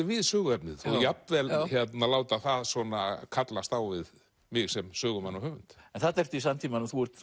við söguefnið og jafnvel láta það svona kallast á við mig sem sögumann og höfund þarna ertu í samtímanum þú ert